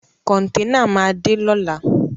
Kọ̀ntẹ́nà máa dé lóla.